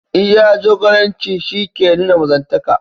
Iya jagoranci shi ke nuna mazantaka.